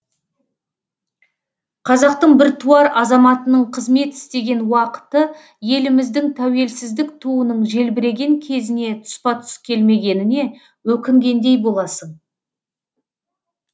қазақтың біртуар азаматының қызмет істеген уақыты еліміздің тәуелсіздік туының желбіреген кезіне тұспа тұс келмегеніне өкінгендей боласың